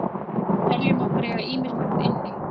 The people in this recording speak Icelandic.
Við teljum okkur eiga ýmislegt inni.